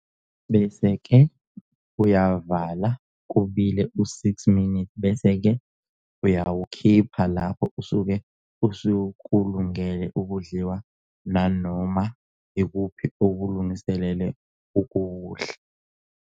Bese ke uyavala kubile u 6 minutes bese ke uyawukhipha lapho usuke usukulungele ukudliwa nanoma yikuphi okulungisele ukuwudla